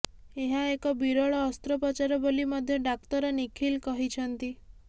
ଏହା ଏକ ବିରଳ ଅସ୍ତ୍ରୋପଚାର ବୋଲି ମଧ୍ୟ ଡାକ୍ତର ନିଖିଲ କହିଛନ୍ତି